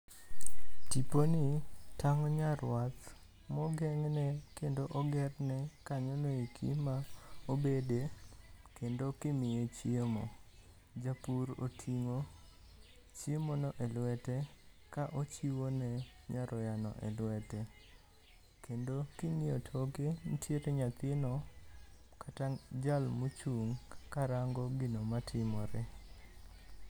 Tiponi tang'o nyarwath mogeng'ne kendo ogerne kanyono eki ma obede kendo kimiye chiemo. Japur oting'o chiemono e lwete ka ochiwo ne nyaroyano e lwete. Kendo king'iyo toke, nitiere nyathino kata jal mochung' ka rango gino matimore.